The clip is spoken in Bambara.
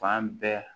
Fan bɛɛ